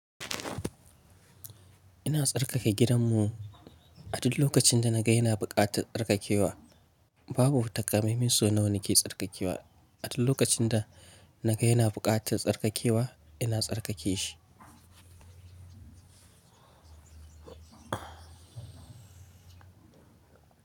Ina tsarkake gidanmu, a duk lokacin da na ga yana buƙatar tsarkakewa. Babu takamai man so na wani ke tsarkakewa, a duk lokacin da na ga yana buƙatar tsarkakewa, ina tsarkake shi.